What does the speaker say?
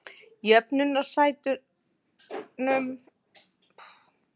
Jöfnunarsætunum er síðan ráðstafað til einstakra lista.